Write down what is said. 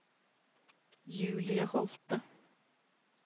Julie Holte